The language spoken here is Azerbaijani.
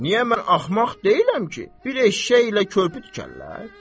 Niyə mən axmaq deyiləm ki, bir eşşəklə körpü tikərlər?